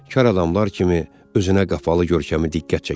Kar adamlar kimi özünə qapalı görkəmi diqqət çəkirdi.